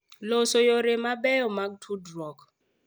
Los yore mabeyo mag tudruok.